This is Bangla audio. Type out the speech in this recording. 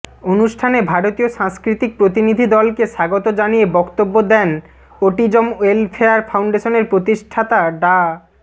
অনুষ্ঠানে ভারতীয় সাংস্কৃতিক প্রতিনিধিদলকে স্বাগত জানিয়ে বক্তব্য দেন অটিজম ওয়েলফেয়ার ফাউন্ডেশনের প্রতিষ্ঠাতা ডা